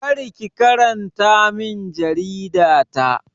Kar ki karanta min jarida ta!